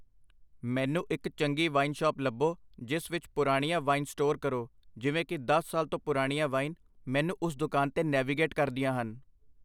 ਮੈਨੂੰ ਇੱਕ ਚੰਗੀ ਵਾਈਨ ਸ਼ਾਪ ਲੱਭੋ ਜਿਸ ਵਿੱਚ ਪੁਰਾਣੀਆਂ ਵਾਈਨ ਸਟੋਰ ਕਰੋ ਜਿਵੇਂ ਕਿ ਦਸ ਸਾਲ ਤੋਂ ਪੁਰਾਣੀਆਂ ਵਾਈਨ ਮੈਨੂੰ ਉਸ ਦੁਕਾਨ 'ਤੇ ਨੈਵੀਗੇਟ ਕਰਦੀਆਂ ਹਨ